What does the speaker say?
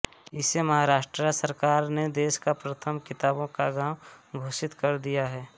इसे महाराष्ट्र सरकार ने देश का प्रथम किताबों का गाँव घोषित कर दिया है